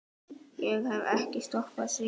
Ég hef ekki stoppað síðan.